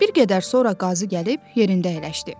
Bir qədər sonra qazı gəlib yerində əyləşdi.